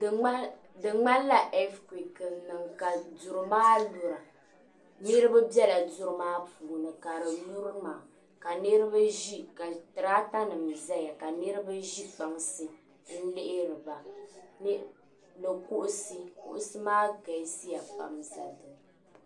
Du ŋmahi di ŋmani la ɛfikuek n niŋ ka duri maa lura niribi bela duri maa puuni ka di lurina ka tiraatanim zaya ka ka niribi ʒe kpansi n lihiri ba ni kuɣusi kuɣusi maa galisiya pam zaya.